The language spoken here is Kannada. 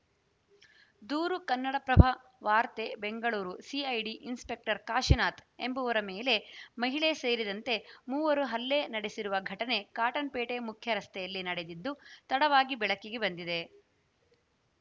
ದೂರು ಕನ್ನಡಪ್ರಭ ವಾರ್ತೆ ಬೆಂಗಳೂರು ಸಿಐಡಿ ಇನ್‌ಸ್ಪೆಕ್ಟರ್‌ ಕಾಶಿನಾಥ್‌ ಎಂಬುವರ ಮೇಲೆ ಮಹಿಳೆ ಸೇರಿದಂತೆ ಮೂವರು ಹಲ್ಲೆ ನಡೆಸಿರುವ ಘಟನೆ ಕಾಟನ್‌ಪೇಟೆ ಮುಖ್ಯರಸ್ತೆಯಲ್ಲಿ ನಡೆದಿದ್ದು ತಡವಾಗಿ ಬೆಳಕಿಗೆ ಬಂದಿದೆ